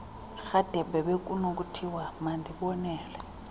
rhadebe bekunokuthiwa mandibonele